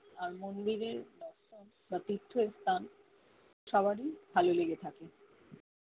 আহ মন্দিরের বা তিথ্য স্থান সবারি ভালো লেগে থাকে